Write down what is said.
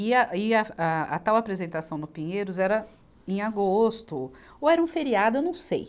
E a, e a, a tal apresentação no Pinheiros era em agosto, ou era um feriado, eu não sei.